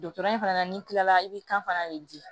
Dɔtɛri in fana na n'i kilala i bɛ kan fana de di